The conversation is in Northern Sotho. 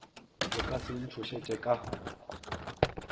le ka se ntšhošetše ka